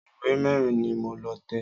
Ìwé mẹ́rin ni mo lọ tẹ̀